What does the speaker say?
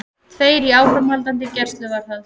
Tveir í áframhaldandi gæsluvarðhald